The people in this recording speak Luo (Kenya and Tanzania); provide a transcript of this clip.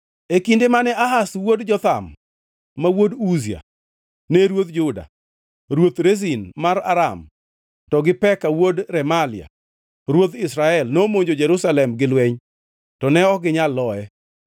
E kinde mane Ahaz wuod Jotham ma wuod Uzia, ne ruodh Juda, ruoth Rezin mar Aram to gi Peka wuod Remalia ruodh Israel nomonjo Jerusalem gi lweny, to ne ok ginyal loye.